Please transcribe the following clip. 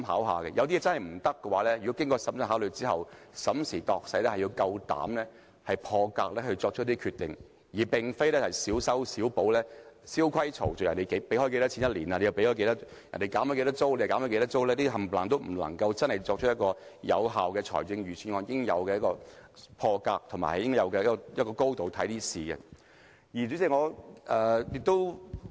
如果有些做法不可行，經過審慎考慮，審時度勢之後，要大膽破格作出一些決定，而非小修小補，蕭規曹隨，別人每年付多少錢便跟着付多少錢、別人減多少租便跟着減多少租，這些全都不是有效的預算案所應有的破格思維和以應有的高度來考慮事情。